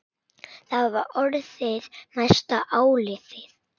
Það var orðið næsta áliðið.